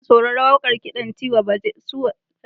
Ina sauraron kiɗan Tiwa Savage kusan kowace rana.